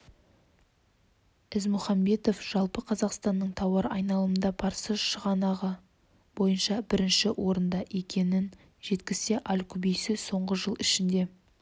ізмұхамбетов жалпы қазақстанның тауар айналымында парсы шығанағы бойынша бірінші орында екенін жеткізсе аль-кубейси соңғы жыл ішінде